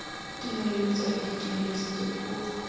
tumelo letswalo ditumelo setso puo